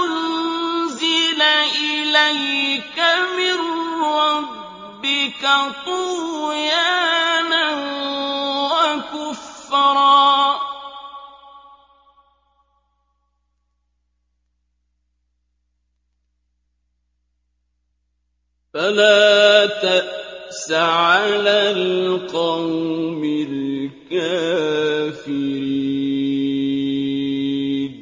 أُنزِلَ إِلَيْكَ مِن رَّبِّكَ طُغْيَانًا وَكُفْرًا ۖ فَلَا تَأْسَ عَلَى الْقَوْمِ الْكَافِرِينَ